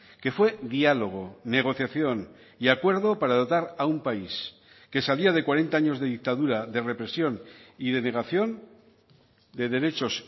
que fue diálogo negociación y acuerdo para dotar a un país que salía de cuarenta años de dictadura de represión y de negación de derechos